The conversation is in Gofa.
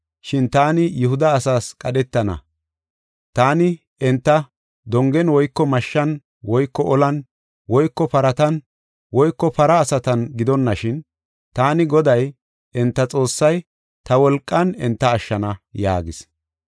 Shin taani Yihuda asaas qadhetana; taani enta dongen woyko mashshan woyko olan woyko paratan woyko para asatan gidonashin, taani Goday, enta Xoossay, ta wolqan enta ashshana” yaagis.